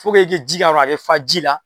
Fo ke i ke ji k'a kɔrɔ a ka fa ji la